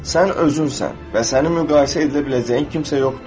Sən özünsən və səni müqayisə edilə biləcəyin kimsə yoxdur.